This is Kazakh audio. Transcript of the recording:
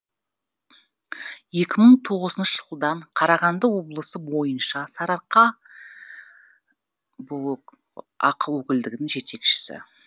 екі мың тоғызыншы жылдан қарағанды облысы бойынша сарыарқа ақ өкілдігінің жетекшісі